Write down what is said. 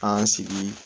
An sigi